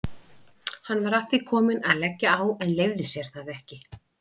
Hann var að því kominn að leggja á en leyfði sér það ekki.